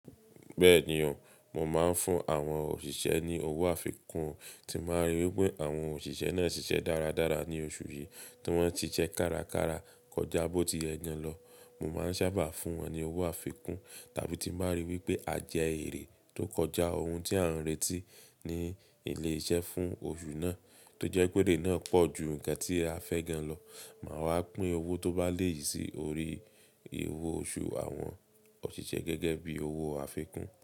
Bẹ́ẹ̀ni o, mo máa ń fún àwọn òṣìṣẹ́ ní owó àfikún tí n bá rí wípé àwọn òṣìṣẹ́ náà ṣiṣẹ́ dáradára ní oṣù yìí tí wón ti se kárakára kọjá bó ti ye naa lọ. Mo máa ń sábà fún wọn ní owó àfikún tàbí tí màá rí wípé à jẹ èrè tó kọjá ohun tí à ń retí ní ilé iṣẹ́ fún oṣù náà, tó jẹ́ pé erè náà pọ̀ ju nǹkan tí a fẹ́ gán lọ, màá wá pín owó tó bá lé yiì sí orí owó oṣù àwọn òṣìṣẹ́ gẹ́gẹ́ bí owó àfikún.